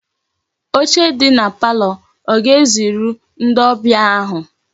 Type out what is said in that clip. Oche dị na palọ ọ ga-ezu ndị ọbịa ahu? Ehiwere isi na omumata palọ na-enwe